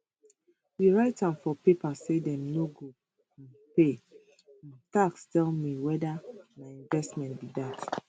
we write am for paper say dem no go um pay um tax tell me weda na investment be dat